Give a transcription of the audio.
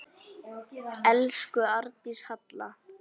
Elsku Arndís Halla.